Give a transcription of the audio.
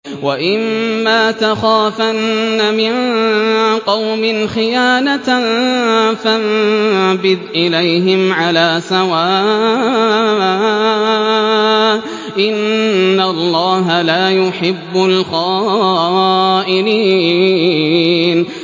وَإِمَّا تَخَافَنَّ مِن قَوْمٍ خِيَانَةً فَانبِذْ إِلَيْهِمْ عَلَىٰ سَوَاءٍ ۚ إِنَّ اللَّهَ لَا يُحِبُّ الْخَائِنِينَ